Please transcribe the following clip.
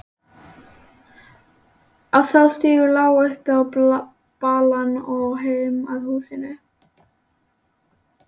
Sá stígur lá upp á balann og heim að húsinu.